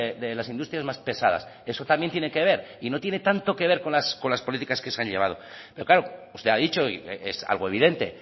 de las industrias más pesadas y eso también tiene que ver y no tiene tanto que ver con las políticas que se han llevado pero claro usted ha dicho y es algo evidente